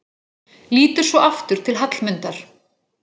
Lítur svo aftur til Hallmundar.